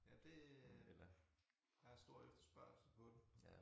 Jamen det der er stor efterspørgsel på dem